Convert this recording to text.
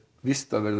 víst að